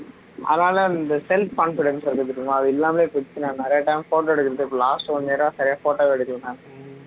அதனால அந்த self confidence இருக்கு பாத்திங்களா அது இல்லாமலே போயிடுச்சு நான் நிறைய time photo எடுக்கிறதில்லை last one year ஆ சரியா photo எடுக்கிறதில்லை நான்